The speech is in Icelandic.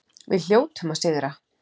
Við hljótum að sigra